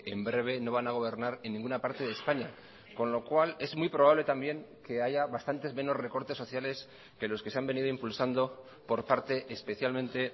en breve no van a gobernar en ninguna parte de españa con lo cual es muy probable también que haya bastantes menos recortes sociales que los que se han venido impulsando por parte especialmente